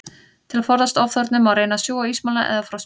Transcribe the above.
Til að forðast ofþornun, má reyna að sjúga ísmola eða frostpinna.